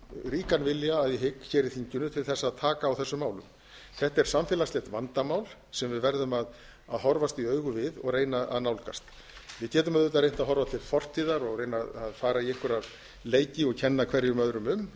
ríkan vilja að ég hygg hér í þinginu til þess að taka á þessum málum þetta er samfélagslegt vandamál sem við verðum að horfast í augu við og reyna að nálgast við getum auðvitað reynt að horfa til fortíðar og reyna að fara í einhverja leiki og kenna hverjum öðrum um